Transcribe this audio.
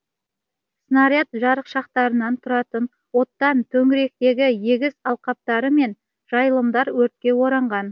снаряд жарықшақтарынан тұтанған оттан төңіректегі егіс алқаптары мен жайылымдар өртке оранған